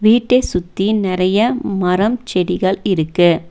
வீட்டை சுத்தி நறைய மரம் செடிகள் இருக்கு.